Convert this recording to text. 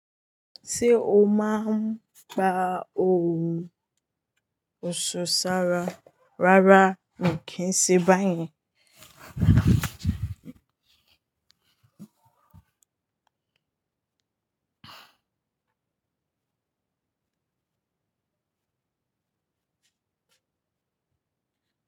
Ṣé o máa ń gba òwú ọ̀ṣọ́ sára rárá mi kì í ṣe bá yen.